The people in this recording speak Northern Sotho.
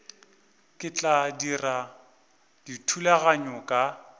ke tla dira dithulaganyo ka